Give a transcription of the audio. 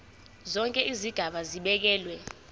zonke izigaba zibekelwe